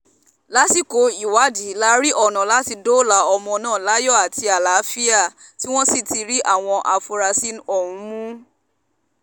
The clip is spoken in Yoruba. lásìkò ìwádìí la rí ọ̀nà láti dóòlà ọmọ náà láyọ̀ àti àlàáfíà tí wọ́n sì rí àwọn afurasí ọ̀hún mú